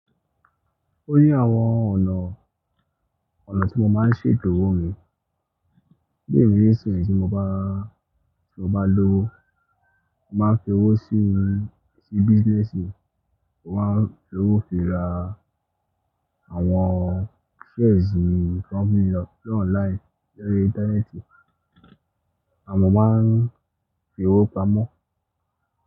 O ní àwọn ọ̀nà, ọ̀nà tí mo máa ń ṣe ètò owó mi. Bí èmi nsin tí mo bá, tí mo bá lọ́wo, mo máa ń fi owó sínu sí business mi, mo máa ń fi owó fi ra àwọn shares ní company lọ, lọ online lórí ìntanẹ́ẹ̀tì. Àmo máa ń fi owó pamọ́.